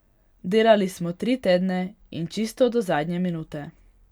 Delali smo tri tedne in čisto do zadnje minute.